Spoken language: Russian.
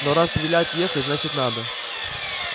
но раз велят ехать значит надо